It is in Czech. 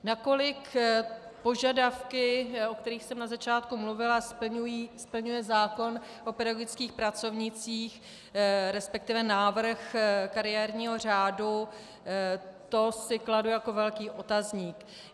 Nakolik požadavky, o kterých jsem na začátku mluvila, splňuje zákon o pedagogických pracovnících, respektive návrh kariérního řádu, to si kladu jako velký otazník.